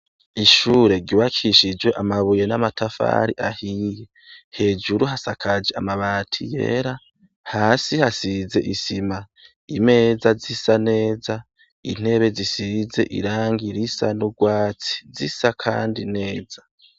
ishure ryubakishijwe amabuye n'amatafari ahiye hejuru hasakaje amabati yera hasi hasize isima imeza zisa neza intebe zisize irangi risa n'urwatsi zisa kandi neza